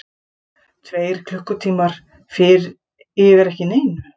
Tveir klukkutímar yfir ekki neinu.